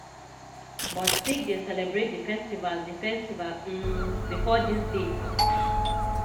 but sikhs dey celebrate di festival di festival um bifor dis date.